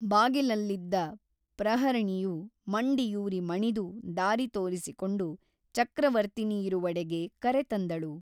ಬಾಗಿಲಲ್ಲಿದ್ದ ಪ್ರಹರಿಣಿಯು ಮಂಡಿಯೂರಿ ಮಣಿದು ದಾರಿ ತೋರಿಸಿಕೊಂಡು ಚಕ್ರವರ್ತಿನಿಯಿರುವೆಡೆಗೆ ಕರೆತಂದಳು.